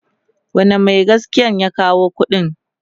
wane Mai gaskiyan ya dawo da ƙuɗin?